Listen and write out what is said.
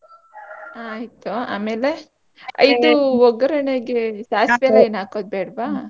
ಆಯ್ತು ಆಮೇಲೆ ಇದು ಒಗರಣೆಗೆ ಸಾಸ್ವೆ ಎಲ್ಲ ಏನ್ ಹಾಕದ್ ಬೇಡ್ವಾ?